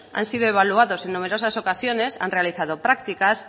han sido evaluados en numerosas ocasiones han realizado prácticas